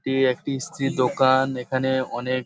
এটি একটি ইস্ত্রি দোকান এখানে অনেক--